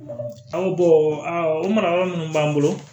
An o mara yɔrɔ minnu b'an bolo